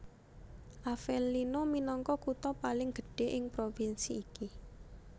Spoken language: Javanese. Avellino minangka kutha paling gedhé ing di provinsi iki